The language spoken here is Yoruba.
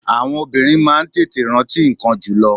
Àwọn obìnrin máa ń tètè rántí ńkan jùlō